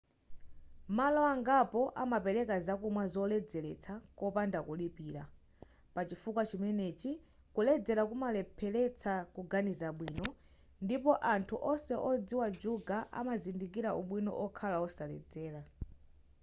malo angapo amapereka zakumwa zoledzeletsa kopanda kulipira pachifukwa chimenechi kuledzera kumalepheretsa kuganiza bwino ndipo anthu onse odziwa juga amazindikira ubwino okhala osaledzera